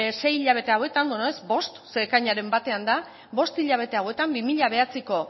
sei hilabete hauetan bueno ez bost zeren ekainaren batean da bost hilabete hauetan bi mila hemeretziko